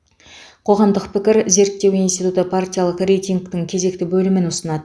қоғамдық пікір зерттеу институты партиялық рейтингтің кезекті бөлімін ұсынады